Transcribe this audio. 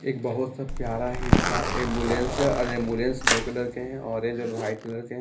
एक बहुत सा प्यारा एंबुलेंस है और एंबुलेंस दो कलर के हैं ऑरेंज और व्हाइट कलर के हैं।